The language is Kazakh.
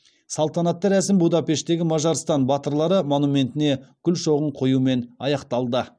салтанатты рәсім будапешттегі мажарстан батырлары монументіне гүл шоғын қоюмен аяқталды